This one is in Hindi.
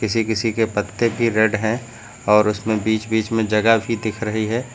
किसी किसी के पत्ते भी रेड है और उसमें बीच बीच में जगह भी दिख रही है।